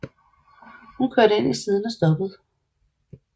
Hun kørte ind til siden og stoppede